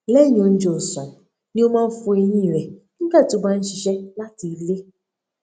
lẹyìn oúnjẹ ọsán ni ó máa n fọ eyín rẹ nígbà tí ó bá n ṣiṣẹ láti ilé